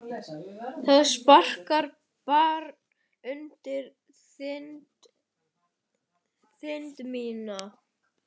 Það sparkar barn undir þind mína.